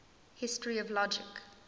history of logic